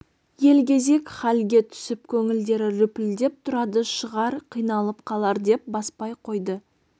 елгезек халге түсіп көңілдері лүпілдеп тұрады шығар қиналып қалар деп баспай қойды